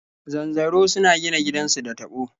Zanzaro suna gina gidansu da taɓo.